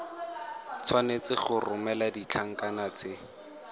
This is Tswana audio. tshwanetse go romela ditlankana tse